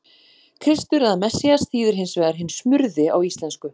Kristur eða Messías þýðir hins vegar hinn smurði á íslensku.